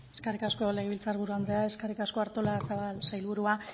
eskerrik asko legebiltzar buru andrea eskerrik asko artolazabal sailburua